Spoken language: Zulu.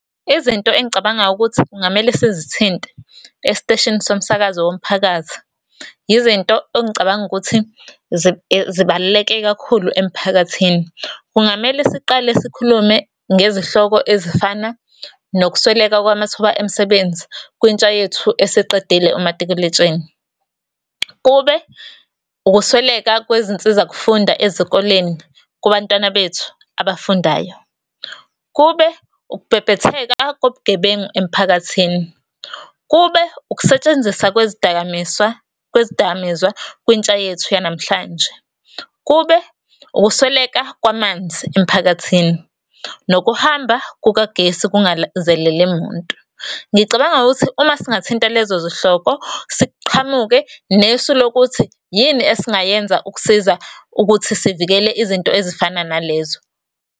Izinto engicabanga ukuthi kungamele sizithinte esiteshini somsakazo womphakathi, izinto engicabanga ukuthi zibaluleke kakhulu emphakathini. Kungamele siqale sikhulume ngezihloko ezifana nokusweleka kwamathuba emisebenzi kwintsha yethu esiqedile umatikuletsheni. Kube ukusweleka kwezinsizakufunda ezikoleni, kubantwana bethu abafundayo. Kube ukubhebhetheka kobugebengu emphakathini. Kube ukusetshenziswa kwezidakamiswa, kwezidakamizwa kwintsha yethu yanamhlanje. Kube, ukusweleka kwamanzi emiphakathini, nokuhamba kukagesi kungalangazelele muntu. Ngicabanga ukuthi uma singathinta lezo zihloko, siqhamuke nesu lokuthi yini esingayenza ukusiza ukuthi sivikele izinto ezifana nalezo.